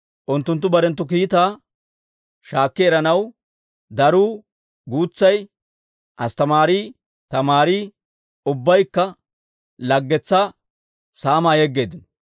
Unttunttu barenttu kiitaa shaakki eranaw daruu guutsay, asttamaarii tamaarii, ubbaykka laggetsaa saamaa yegeeddino.